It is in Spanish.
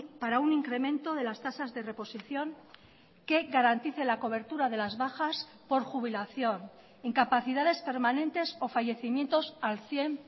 para un incremento de las tasas de reposición que garantice la cobertura de las bajas por jubilación incapacidades permanentes o fallecimientos al cien